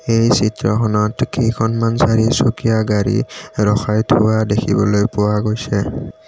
এই চিত্ৰখনত কেইখনমান চাৰিচকীয়া গাড়ী ৰখাই থোৱা দেখিবলৈ পোৱা গৈছে।